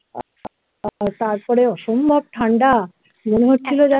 তারপরে অসম্ভব ঠান্ডা মনে হচ্ছিলো যেন